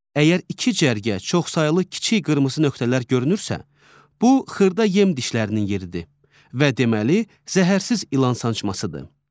Əgər iki cərgə çoxsaylı kiçik qırmızı nöqtələr görünürsə, bu xırda yem dişlərinin yeridir və deməli zəhərsiz ilan sancmasıdır.